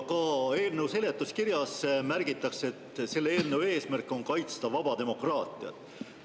Ka eelnõu seletuskirjas märgitakse, et selle eelnõu eesmärk on kaitsta vaba demokraatiat.